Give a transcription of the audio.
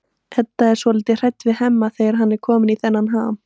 Edda er svolítið hrædd við Hemma þegar hann er kominn í þennan ham.